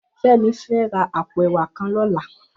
Femi fè rà àpó èwà kàn lòlá